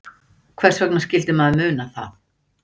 Hvers vegna skyldi maður muna það?